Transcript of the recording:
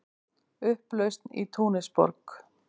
Upplausn í Túnisborg